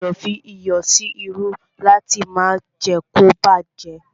A gbọdọ̀ fí iyọ̀ sí irú láti má jé kí ó bá jẹ́.